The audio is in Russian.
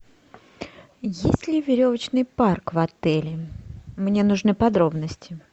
есть ли веревочный парк в отеле мне нужны подробности